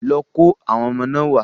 Lọ kó àwọn ọmọ náà wá.